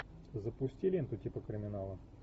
запусти ленту типа криминала